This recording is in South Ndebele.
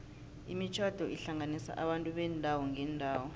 imitjhado ihlanganisa abantu beendawo ngeendawo